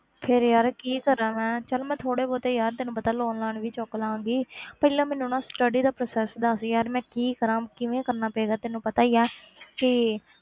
ਫਿਰ ਯਾਰ ਕੀ ਕਰਾਂ ਮੈਂ ਚੱਲ ਮੈਂ ਥੋੜ੍ਹੇ ਬਹੁਤੇ ਯਾਰ ਤੈਨੂੰ ਪਤਾ loan ਲਾਨ ਵੀ ਚੁੱਕ ਲਵਾਂਗੀ ਪਹਿਲਾਂ ਮੈਨੂੰ ਨਾ study ਦਾ process ਦੱਸ ਯਾਰ ਮੈਂ ਕੀ ਕਰਾਂ, ਕਿਵੇਂ ਕਰਨਾ ਚਾਹੀਦਾ ਤੈਨੂੰ ਪਤਾ ਹੀ ਹੈ ਕਿ